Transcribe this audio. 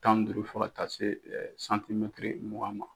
Tan ni duuru fɔ ka taa se santimɛtiri mugan ma